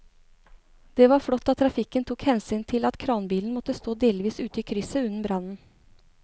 Det var flott at trafikken tok hensyn til at kranbilen måtte stå delvis ute i krysset under brannen.